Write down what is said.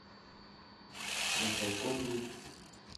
михалков дудь